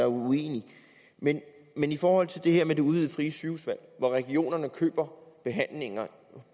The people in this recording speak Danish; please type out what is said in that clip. uenige men i forhold til det her med det udvidede frie sygehusvalg hvor regionerne køber behandlinger